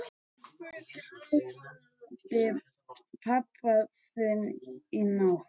Mig dreymdi pabba þinn í nótt.